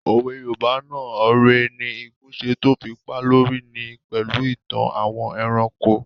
Òwe yoòbá náà "ore ni igún ṣe tó fi pá lórí" níí ṣe pẹ̀lú ìtàn àwọn ẹranko